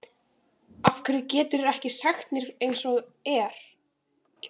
Af hverju geturðu ekki sagt mér eins og er?